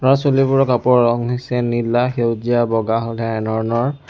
ল'ৰা ছোৱালীবোৰৰ কাপোৰৰ ৰং হৈছে নীলা সেউজীয়া বগা এনেধৰণৰ।